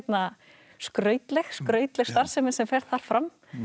skrautleg skrautleg starfsemi sem fer þar fram